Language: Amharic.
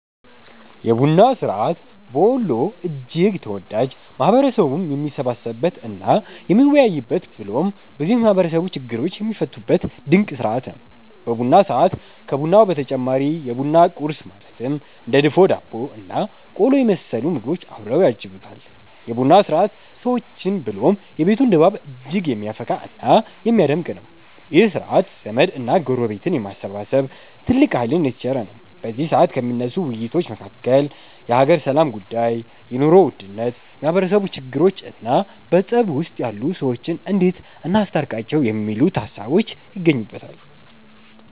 የቡና ስርዐት በወሎ እጅግ ተወዳጅ፣ ማህበረሰቡም የሚሰባሰብበት እና የሚወያይበት ብሎም ብዙ የማህበረሰቡ ችግሮች የሚፈቱበት ድንቅ ስርዐት ነው። በቡና ሰዐት ከቡናው በተጨማሪ የቡና ቁረስ ማለትም እንደ ድፎ ዳቦ እና ቆሎ የመሰሉ ምግቦች አብረው ያጅቡታል። የ ቡና ስርዐት ሰዎችን ብሎም የቤቱን ድባብ እጅግ የሚያፈካ እና የሚያደምቅ ነው። ይህ ስርዐት ዘመድ እና ጎረቤትን የማሰባሰብ ትልቅ ሃይልን የተቸረ ነው። በዚ ሰዐት ከሚነሱ ውይይቶች መካከል የሃገር ሰላም ጉዳይ፣ የ ኑሮ ውድነት፣ የማህበረሰቡ ችግሮቾ እና በፀብ ውስጥ ያሉ ሰዎችን እንዴት እናስታርቃቸው የሚሉት ሃሳቦች ይገኙበተል።